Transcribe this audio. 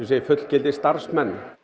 fullgildir starfsmenn